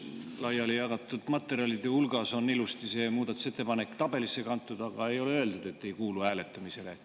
Laiali jagatud materjalide hulgas on ilusasti see muudatusettepanek tabelisse kantud, aga ei ole öeldud, et ei kuulu hääletamisele.